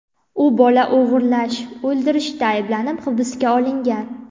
U bola o‘g‘irlash va o‘ldirishda ayblanib, hibsga olingan.